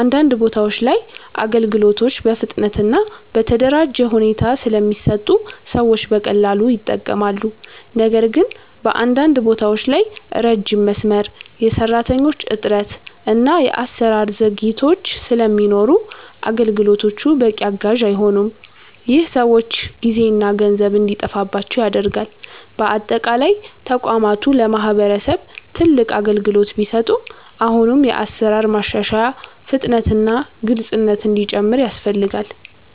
አንዳንድ ቦታዎች ላይ አገልግሎቶች በፍጥነት እና በተደራጀ ሁኔታ ስለሚሰጡ ሰዎች በቀላሉ ይጠቀማሉ። ነገር ግን በአንዳንድ ቦታዎች ላይ ረጅም መስመር፣ የሰራተኞች እጥረት እና የአሰራር ዘግይቶች ስለሚኖሩ አገልግሎቶቹ በቂ አጋዥ አይሆኑም። ይህ ሰዎች ጊዜና ገንዘብ እንዲጠፋባቸው ያደርጋል። በአጠቃላይ ተቋማቱ ለማህበረሰብ ትልቅ አገልግሎት ቢሰጡም አሁንም የአሰራር ማሻሻያ፣ ፍጥነት እና ግልፅነት እንዲጨምር ያስፈልጋል።